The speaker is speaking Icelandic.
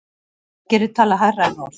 Aðgerðir tala hærra en orð.